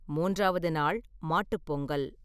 மூன்றாவது நாள் மாட்டுப் பொங்கல்.